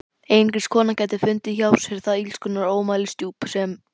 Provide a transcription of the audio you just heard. Einungis kona gæti fundið hjá sér það illskunnar ómælisdjúp sem